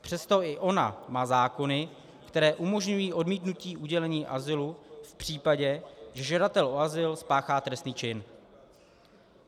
Přesto i ono má zákony, které umožňují odmítnutí udělení azylu v případě, že žadatel o azyl spáchá trestný čin.